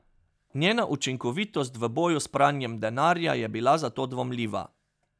Njena učinkovitost v boju s pranjem denarja je bila zato dvomljiva.